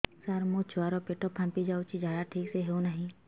ସାର ମୋ ଛୁଆ ର ପେଟ ଫାମ୍ପି ଯାଉଛି ଝାଡା ଠିକ ସେ ହେଉନାହିଁ